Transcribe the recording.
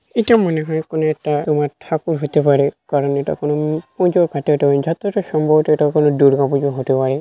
এটা মনে হয় কোন একটা তোমার ঠাকুর হতে পারে কারণ এটা কোন পুজো যতটা সম্ভব এটা কোনো দুর্গা পূজো হতে পারে।